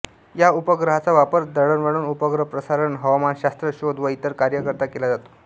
या उपग्रहांचा वापर दळणवळण उपग्रह प्रसारण हवामानशास्त्र शोध व इतर कार्यांकरिता केला जातो